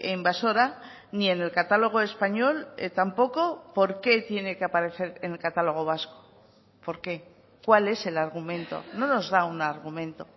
invasora ni en el catálogo español tampoco por qué tiene que aparecer en el catálogo vasco por qué cuál es el argumento no nos da un argumento